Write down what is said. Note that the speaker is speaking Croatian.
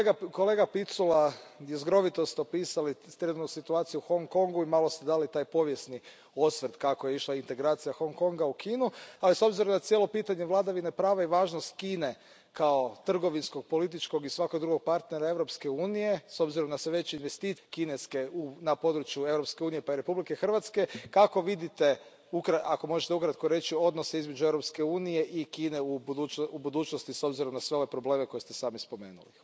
Kolega Picula, jezgrovito ste opisali situaciju u Hong Kongu i malo ste dali taj povijesni osvrt, kako je išla integracija Hong Konga u Kinu, ali s obzirom da cijelo pitanje vladavine prava i važnost Kine kao trgovinskog, političkog i svakog drugog partnera Europske unije, s obzirom na sve veće kineske investicije na području Europske unije pa i Republike Hrvatske, kako vidite, ako možete ukratko reći, odnose između Europske unije i Kine u budućnosti s obzirom na sve ove probleme koje ste sami spomenuli?